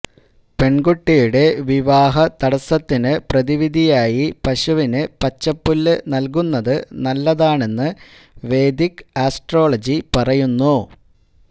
പെണ്കുട്ടിയുടെ വിവാഹതടസത്തിനു പ്രതിവിധിയായി പശുവിന് പച്ചപ്പുല്ലു നല്കുന്നത് നല്ലതാണെന്ന് വേദിക് ആസ്ട്രോളജി പറയുന്നു